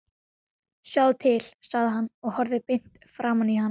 Sjáðu til, sagði hann og horfði beint framan í hana.